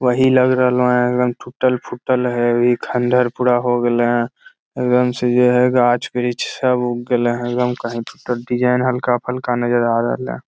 वही लग रहलौ हैं सब टूटल-फुटल है इ खण्डर पूरा हो गले हैं एकदम से जो है गाछ-वृछ सब उगले हैं एकदम कहीं टूटल डिजाइन हल्का-फल्का नज़र आ रहल है।